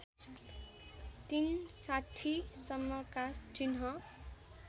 ३६० सम्मका चिह्न